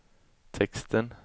texten